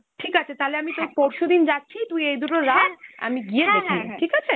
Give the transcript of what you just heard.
ঠিক আছে, তাহলে আমি তোর পরশুদিন যাচ্ছি, তুই এই দুটো রাখ , আমি গিয়ে দেখে নেব, ঠিক আছে?